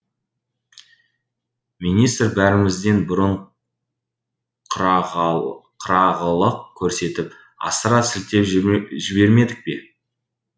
министр бәрімізден бұрын қырағылық көрсетіп асыра сілтеп жібермедік пе